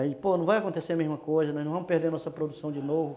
Aí, pô, não vai acontecer a mesma coisa, nós não vamos perder a nossa produção de novo.